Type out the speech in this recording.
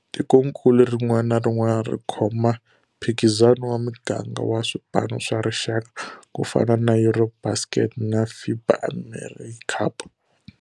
Tikonkulu rin'wana na rin'wana ri khoma mphikizano wa miganga wa swipano swa rixaka, ku fana na EuroBasket na FIBA AmeriCup.